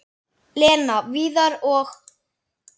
Lena, Viðar og